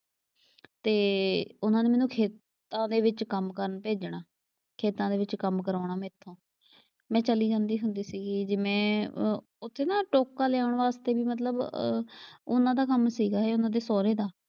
ਤੇ, ਉਨ੍ਹਾਂ ਨੇ ਮੈਨੂੰ ਖੇਤਾਂ ਦੇ ਵਿੱਚ ਕੰਮ ਕਰਨ ਭੇਜਣਾ। ਖੇਤਾਂ ਦੇ ਵਿੱਚ ਕੰਮ ਕਰਾਉਣਾ ਮੈਥੋਂ ਮੈਂ ਚਲੀ ਜਾਂਦੀ ਹੁੰਦੀ ਸੀਗੀ। ਜਿਵੇਂ ਉੱਥੇ ਨਾ ਟੋਕਾ ਲਿਆਉਣ ਵਾਸਤੇ ਵੀ ਮਤਲਬ ਅ ਉਨ੍ਹਾਂ ਦਾ ਕੰਮ ਸੀਗਾ ਇਹ ਉਨ੍ਹਾਂ ਦੇ ਸਹੁਰੇ ਦਾ,